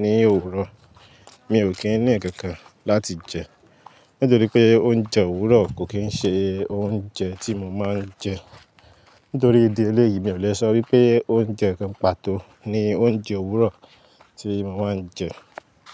ní òwúrọ̀, mi ò kí ń nǹkankan láti jẹ nítorí pé oúnjẹ òwúrọ̀ kò kí ń ṣe oúnjẹ tí mo máa ń jẹ. Nítorí ìdí eléyìí mi ò le sọ wípé oúnjẹ kan pàtó ni oúnjẹ òwúrọ̀ tí mo máa ń jẹ.